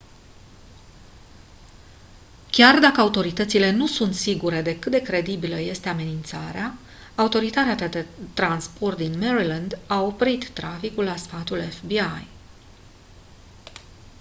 chiar dacă autoritățile nu sunt sigure de cât de credibilă este amenințarea autoritatea de transport din maryland oprit traficul la sfatul fbi